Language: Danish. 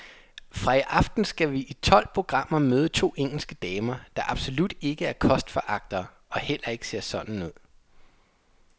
Fra i aften skal vi i tolv programmer møde to engelske damer, der absolut ikke er kostforagtere og heller ikke ser sådan ud.